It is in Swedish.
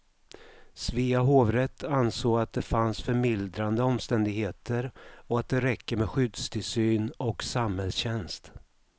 Svea hovrätt ansåg att det fanns förmildrande omständigheter och att det räcker med skyddstillsyn och samhällstjänst.